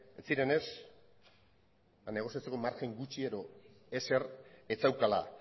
ez zirenez negoziazio margen gutxi edo ezer ez zeukala